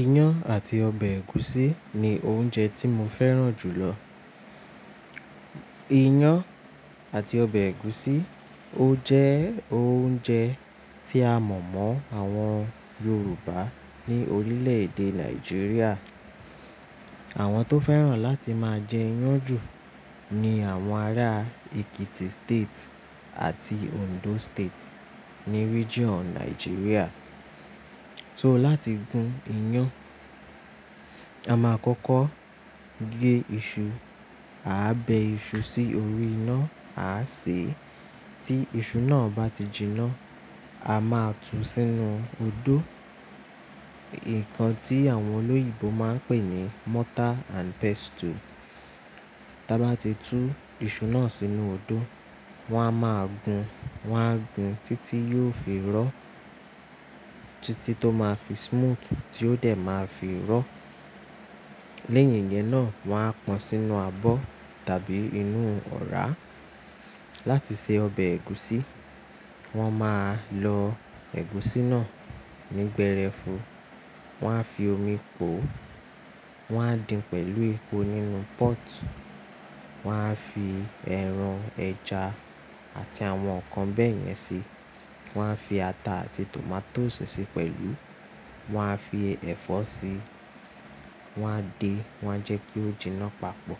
Iyán àti ọbẹ̀ ẹ̀gúsí ni oúnjẹ tí mo fẹ́ràn jù lọ. Iyán àti ọbẹ̀ ẹ̀gúsí ó jẹ́ oúnjẹ tí a mọ̀ mọ́ àwọn Yorùbá ní orílẹ̀ èdè Nàìjíríà. Àwọn tó fẹ́ràn láti máa jẹ iyán jù ni àwọn ará Ekiti State àti Ondo State ní region Nàìjíríà. So láti gun iyán, a máa kọ́kọ́ gé iṣu. A á bẹ iṣu sí orí iná, a á sè é. Tí iṣu náà bá ti jinná, a máa tú sínú odó. Ǹkan tí àwọn olóyìibo máa ń pè ní mortar and pestle. Tí a bá ti tú iṣu náà sínú odó, wọn a máa gun. Wọn a gun títí yóò fi rọ̀. Títí tó máa fi smooth tí ó dẹ̀ máa fi rọ̀. Lẹ́yìn yẹn náà, wọ́n á pọn sínú abọ́ tàbí inú ọra. Láti se ọbẹ̀ ẹ̀gúsí, wọ́n máa lọ ẹ̀gúsí náà nígbẹ́rẹ́fu. Wọn á fi omi pò. Wọn á dín pẹ̀lú epo nínú pot. Wọn á fi ẹran, ẹja àti àwọn nǹkan bẹ́ẹ̀ yẹn sí i. Wọn á fi ata àti tòmátósì sí i pẹ̀lú. Wọn á fi ẹ̀fọ́ sí i. Wọ́n á dè é, wọ́n á jẹ́ kí ó jinná papọ̀.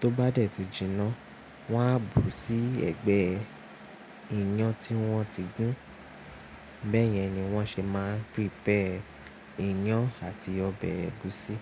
Tó bá dẹ̀ ti jinná, wọ́n á bu sí ẹ̀gbẹ́ iyán tí wọ́n ti gùn. Bẹ́ẹ̀ yẹn ni wọ́n ṣe máa ń prepare iyán àti ọbẹ̀ ẹ̀gúsí.